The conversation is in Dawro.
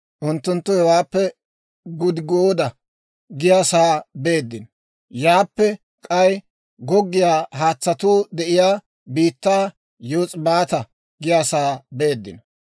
Unttunttu hewaappe Gudigooda giyaasaa beeddino; yaappe k'ay goggiyaa haatsatuu de'iyaa biittaa Yos'ibaata giyaasaa beeddino.